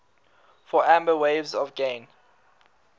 for amber waves of grain